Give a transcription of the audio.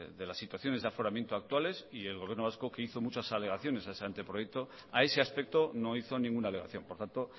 de las situaciones de aforamiento actuales y el gobierno vasco que hizo muchas alegaciones a ese anteproyecto a ese aspecto no hizo ninguna alegación por tanto